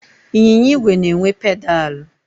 Ịnyịnya igwe na-enwe pedalụ.